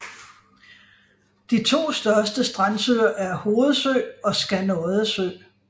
De to største strandsøer er Hovedsø og Skanodde Sø